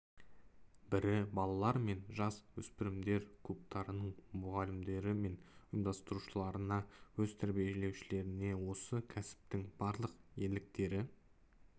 бірі балалар мен жас өспірімдер клубтарының мұғалімдері мен ұйымдастырушыларына өз тәрбиеленушілеріне осы кәсіптің барлық ерліктері